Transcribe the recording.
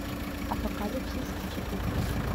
апокалипсис четыре ка